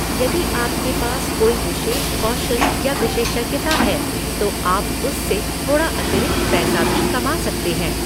यदि आपके पास कोई विशेष कौशल या विशेषज्ञता है, तो आप उससे थोड़ा अतिरिक्त पैसा भी कमा सकते हैं।